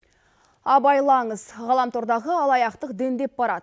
абайлаңыз ғаламтордағы алаяқтық дендеп барады